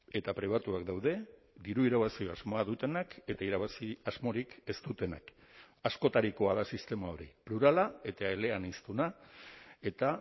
eta pribatuak daude diru irabazi asmoa dutenak eta irabazi asmorik ez dutenak askotarikoa da sistema hori plurala eta eleaniztuna eta